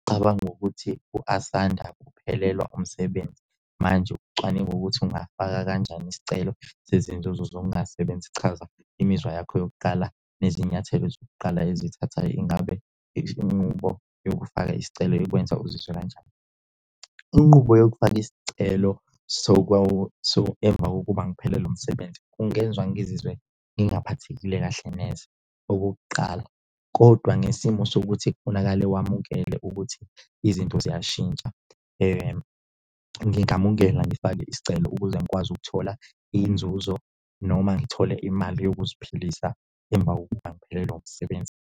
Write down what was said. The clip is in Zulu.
Cabanga ukuthi u-Asanda uphelelwa umsebenzi manje ucwaninga ukuthi ungafaka kanjani isicelo sezinzuzo zokungasebenzi. Chaza imizwa yakho yokuqala nezinyathelo zokuqala ezithatha. Ingabe isinqubo yokufaka isicelo ikwenza uzizwe kanjani? Inqubo yokufaka isicelo emva kokuba ngiphelelo umsebenzi, kungenza ngizizwe ngingaphathekile kahle neze okokuqala kodwa ngesimo sokuthi kufunakale wamukele ukuthi izinto ziyashintsha. Ngingamukela ngifake isicelo ukuze ngikwazi ukuthola inzuzo noma ngithole imali yokuziphilisa emva kokuba ngiphelelwa umsebenzi.